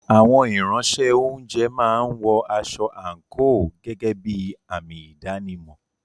Àwọn Ìránṣẹ́-oúnjẹ máa ń wọ aṣọ àǹkóò gẹ́gẹ́ bí àmì ìdánimọ̀.